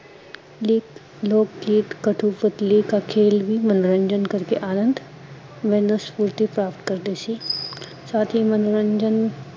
lake ਲੋਗ ਗੀਤ ਕਥੂ ਪੁਤਲੀ ਕਾ ਖੇਲ ਵੀ ਮਨੋਰੰਜਨ ਕਰ ਕੇ ਅਨੰਦ ਵੇਂ ਬੁੱਧੀ ਪ੍ਰਾਪਤ ਕਰਦੇ ਸੀ ਸਾਥ ਹੀਂ ਮਨੋਰੰਜਨ